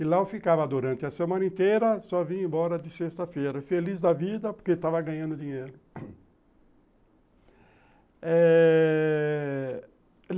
E lá eu ficava durante a semana inteira, só vim embora de sexta-feira, feliz da vida, porque estava ganhando dinheiro eh...